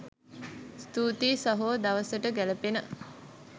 ස්තුතියි සහෝ දවසට ගෑළපෙන